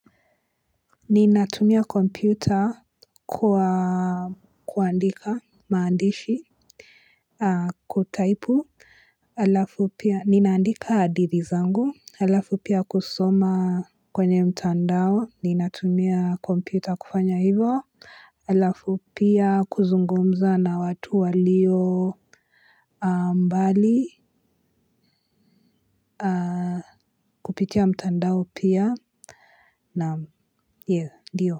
Ninatumia kompyuta kwa kuandika maandishi. Kutaipu alafu pia ninandika adithi zangu alafu pia kusoma kwenye mtandao ninatumia kompyuta kufanya hivo alafu pia kuzungumza na watu walio Mbali. Kupitia mtandao pia na yeh diyo.